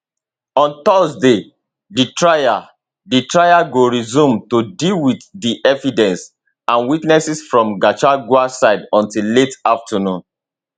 on thursday di trial di trial go resume to deal with di evidence and witnesses from gachagua side until late afternoon